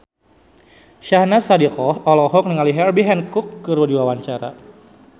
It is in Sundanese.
Syahnaz Sadiqah olohok ningali Herbie Hancock keur diwawancara